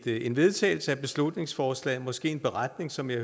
en vedtagelse af beslutningsforslaget måske en beretning som jeg